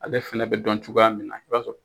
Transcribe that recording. Ale fana bɛ dɔn cogoya min na i b'a sɔrɔ